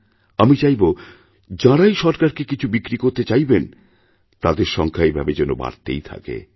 আমি চাইবো যাঁরাই সরকারকেকিছু বিক্রি করতে চাইবেন তাঁদের সংখ্যা এভাবে যেন বাড়তেই থাকে